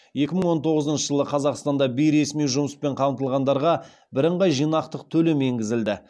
екі мың он тоғызыншы жылы қазақстанда бейресми жұмыспен қамтылғандарға бірыңғай жиынтық төлем енгізілді